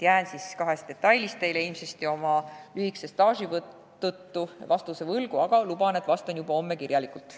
Jään kahe detaili osas ilmselt oma lühikese tööstaaži tõttu teile vastuse võlgu, aga luban, et vastan juba homme kirjalikult.